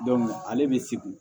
ale bɛ se